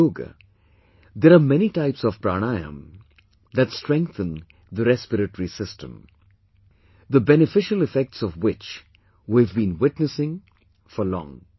In yoga, there are many types of Pranayama that strengthen the respiratory system; the beneficial effects of which we have been witnessing for long